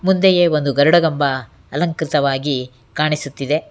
ಮುಂದೆಯೇ ಒಂದು ಗರುಡಗಂಬ ಅಲಂಕೃತವಾಗಿ ಕಾಣಿಸುತ್ತಿದೆ.